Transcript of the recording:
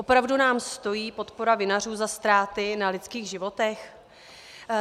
Opravdu nám stojí podpora vinařů za ztráty na lidských životech?